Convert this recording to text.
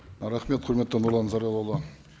рахмет құрметті нұрлан зайроллаұлы